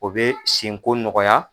O bɛ senko nɔgɔya